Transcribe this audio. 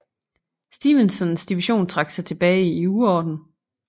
Stevensons division trak sig tilbage i uorden